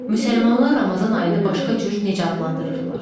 Müsəlmanlar Ramazan ayını başqa cür necə adlandırırlar?